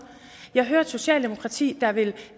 jeg hører et socialdemokrati der vil